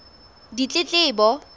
ditletlebo